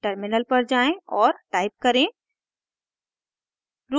terminal पर जाएँ और टाइप करें